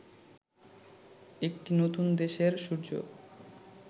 একটি নতুন দেশের সূর্য